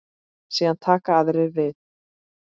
Síðan taka aðrir við.